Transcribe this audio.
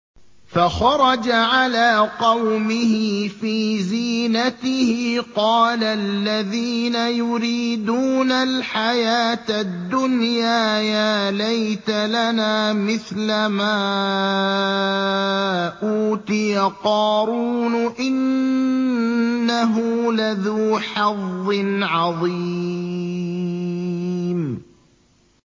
فَخَرَجَ عَلَىٰ قَوْمِهِ فِي زِينَتِهِ ۖ قَالَ الَّذِينَ يُرِيدُونَ الْحَيَاةَ الدُّنْيَا يَا لَيْتَ لَنَا مِثْلَ مَا أُوتِيَ قَارُونُ إِنَّهُ لَذُو حَظٍّ عَظِيمٍ